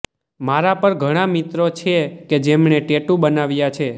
મારા પણ ઘણા મિત્રો છે કે જેમણે ટેટૂ બનાવ્યા છે